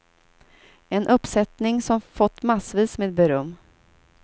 En uppsättning som fått massvis med beröm.